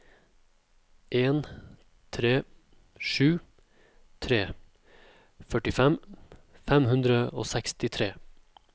en tre sju tre førtifem fem hundre og sekstitre